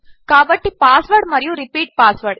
కాబట్టి పాస్వ్రాడ్ మరియు repeat password